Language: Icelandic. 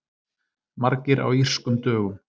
Margir á Írskum dögum